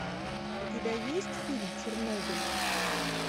у тебя есть фильм чернобыль